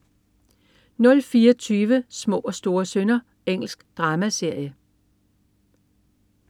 04.20 Små og store synder. Engelsk dramaserie